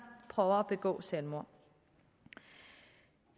prøver at begå selvmord